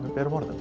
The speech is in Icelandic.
berum orðum